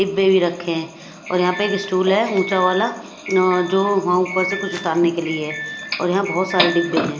डिब्बे भी रखे हैं और यहाँ पर एक स्टूल है ऊंचा वाला जो वहाँ ऊपर से कुछ उतारने के लिए है और यहाँ बहुत सारे डिब्बे हैं।